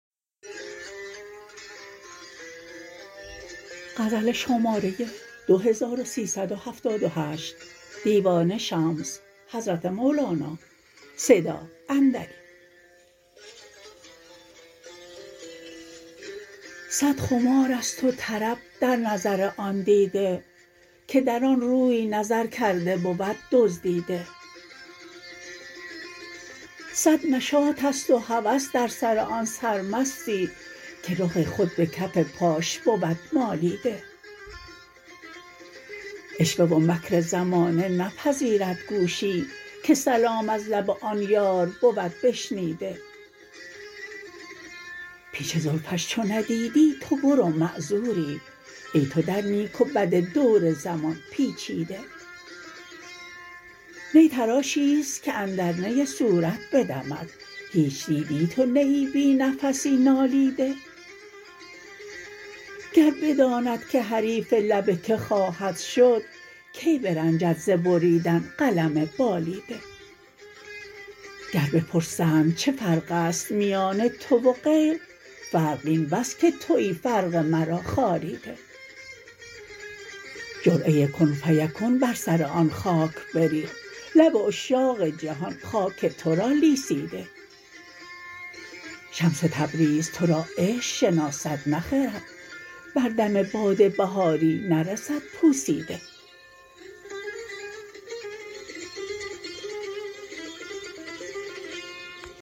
صد خمار است و طرب در نظر آن دیده که در آن روی نظر کرده بود دزدیده صد نشاط است و هوس در سر آن سرمستی که رخ خود به کف پاش بود مالیده عشوه و مکر زمانه نپذیرد گوشی که سلام از لب آن یار بود بشنیده پیچ زلفش چو ندیدی تو برو معذوری ای تو در نیک و بد دور زمان پیچیده نی تراشی است که اندر نی صورت بدمد هیچ دیدی تو نیی بی نفسی نالیده گر بداند که حریف لب کی خواهد شد کی برنجد ز بریدن قلم بالیده گر بپرسند چه فرق است میان تو و غیر فرق این بس که توی فرق مرا خاریده جرعه کن فیکون بر سر آن خاک بریخت لب عشاق جهان خاک تو را لیسیده شمس تبریز تو را عشق شناسد نه خرد بر دم باد بهاری نرسد پوسیده